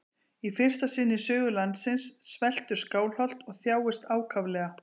Í fyrsta sinn í sögu landsins sveltur Skálholt og þjáist ákaflega.